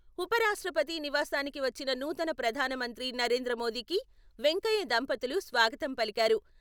ఉపరాష్ట్రపతి నివాసానికి వచ్చిన నూతన ప్రధానమంత్రి నరేంద్ర మోదీకి వెంకయ్య దంపతులు స్వాగతం పలికారు.